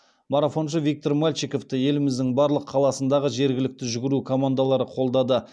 марафоншы виктор мальчиковты еліміздің барлық қаласындағы жергілікті жүгіру командалары қолдады